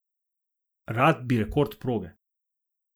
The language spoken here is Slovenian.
Rad bi rekord proge.